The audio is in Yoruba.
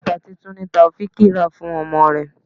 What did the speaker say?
Bàtà tuntun ni Taofiq rà fún ọmọ rẹ.